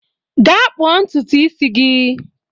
Gaa kpụọ ntutu isi gị